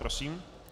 Prosím.